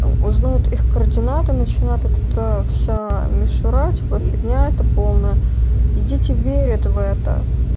узнают их координаты начинает этот вся мишура типа фигня это полная и дети верят в это